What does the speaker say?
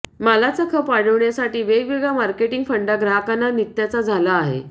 मालाचा खप वाढवण्यासाठी वेगवेगळा मार्केटिंग फंडा ग्राहकांना नित्याचा झाला आहे